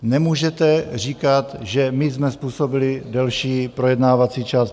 Nemůžete říkat, že my jsme způsobili delší projednávací čas.